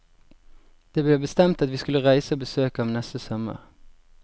Det ble bestemt at vi skulle reise og besøke ham neste sommer.